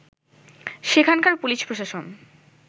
সেখানকার পুলিশ প্রশাসন